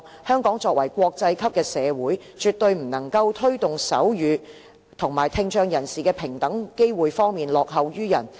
香港作為國際級的社會，絕對不能夠在推動手語和聽障人士的平等機會方面落後於人。